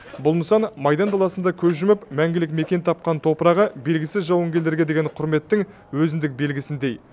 бұл нысан майдан даласында көз жұмып мәңгілік мекен тапқан топырағы белгісіз жауынгерлерге деген құрметтің өзіндік белгісіндей